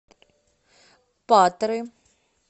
патры